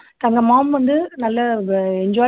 தங்க mom வந்து நல்லா enjoy